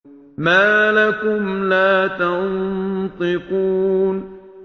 مَا لَكُمْ لَا تَنطِقُونَ